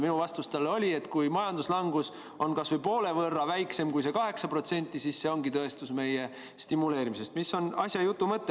Minu vastus talle oli, et kui majanduslangus on kas või poole võrra väiksem kui 8%, siis see ongi tõestus meie stimuleerimise.